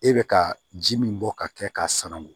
E bɛ ka ji min bɔ ka kɛ k'a sanangun